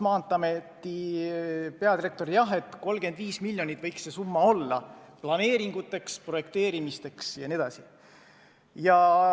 Maanteeameti peadirektor oli seisukohal, et 35 miljonit võiks olla see summa, mis kulub planeeringute tegemiseks, projekteerimiseks jne.